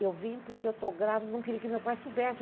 Eu vim porque eu estou grávida e não queria que meu pai soubesse.